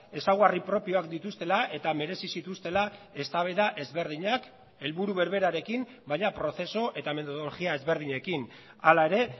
ezaugarri propioak dituztela eta merezi zituztela eztabaida ezberdinak helburu berberarekin baina prozesu eta metodologia ezberdinekin hala ere